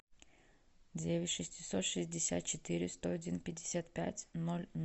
девять шестьсот шестьдесят четыре сто один пятьдесят пять ноль